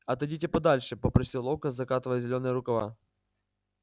отойдите подальше попросил локонс закатывая зелёные рукава